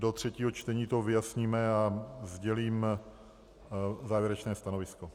Do třetího čtení to vyjasníme a sdělím závěrečné stanovisko.